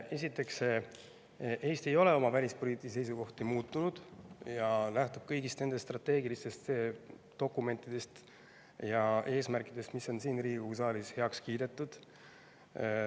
Esiteks, Eesti ei ole oma välispoliitilisi seisukohti muutnud ja lähtub kõigist nendest strateegilistest dokumentidest ja eesmärkidest, mis on siin Riigikogu saalis heaks kiidetud.